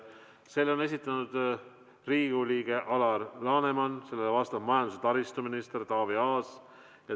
Selle on esitanud Riigikogu liige Alar Laneman, sellele vastab majandus- ja taristuminister Taavi Aas.